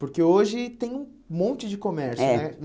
Porque hoje tem um monte de comércio, né? É